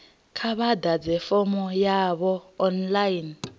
kha vha ḓadze fomo yavho online